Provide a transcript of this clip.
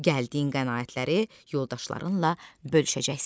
gəldiyin qənaətləri yoldaşlarınla bölüşəcəksən.